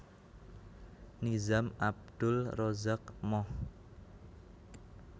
Nizam Abdul Razak Mohd